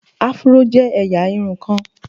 Afuro je eya irun kan